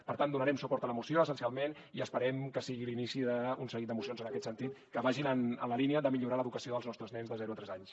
per tant donarem suport a la moció essencialment i esperem que sigui l’inici d’un seguit de mocions en aquest sentit que vagin en la línia de millorar l’educació dels nostres nens de zero a tres anys